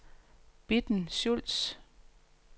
Bitten Schultz